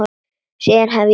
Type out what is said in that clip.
Síðan hef ég verið hér.